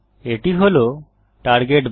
এটি হল টার্গেট বার